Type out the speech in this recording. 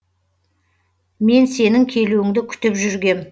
мен сенің келуіңді күтіп жүргем